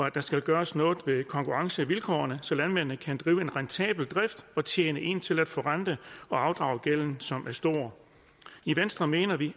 at der skal gøres noget ved konkurrencevilkårene så landmændene kan drive en rentabel drift og tjene ind til at forrente og afdrage gælden som er stor i venstre mener vi